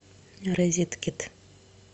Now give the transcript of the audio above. розеткед